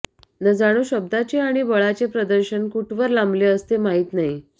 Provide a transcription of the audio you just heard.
न जाणो शब्दाचे आणि बळाचे प्रदर्शन कुठ वर लांबले असते माहित नाही